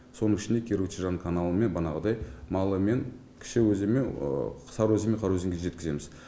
соның ішінде киру чежан каналымен банағыдай малымен кіші өзенмен сары өзен мен қара өзенге жеткіземіз